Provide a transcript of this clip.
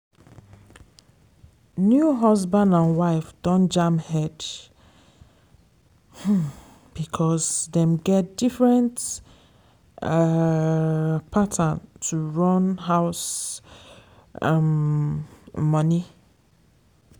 new husband and wife don jam head um because dem get different um pattern to run house um money.